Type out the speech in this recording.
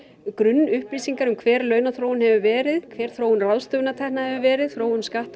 grunnupplýsingar um hver launaþróun hefur verið hver þróun ráðstöfunartekna hefur verið þróun skatta